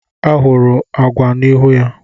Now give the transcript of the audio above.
Ahụrụ ụgwa n'ihu ya.